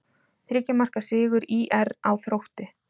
Þriggja marka sigur ÍR á Þrótti